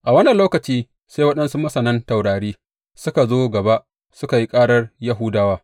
A wannan lokaci sai waɗansu masanan taurari suka zo gaba suka yi karar Yahudawa.